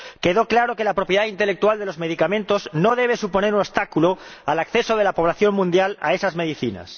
Quedó claro que la propiedad intelectual de los medicamentos no debe suponer un obstáculo al acceso de la población mundial a esas medicinas.